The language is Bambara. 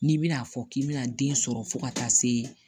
N'i bɛna'a fɔ k'i bɛna den sɔrɔ fo ka taa se